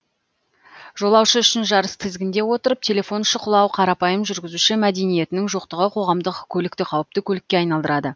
жолаушы үшін жарыс тізгінде отырып телефон шұқылау қарапайым жүргізуші мәдениетінің жоқтығы қоғамдық көлікті қауіпті көлікке айналдырады